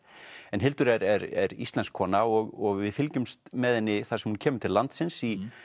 en Hildur er íslensk kona og við fylgjumst með henni þar sem hún kemur til landsins í